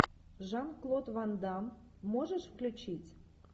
жан клод ван дамм можешь включить